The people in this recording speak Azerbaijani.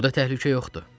Burada təhlükə yoxdur.